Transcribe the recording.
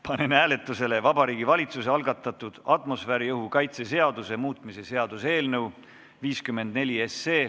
Panen hääletusele Vabariigi Valitsuse algatatud atmosfääriõhu kaitse seaduse muutmise seaduse eelnõu 54.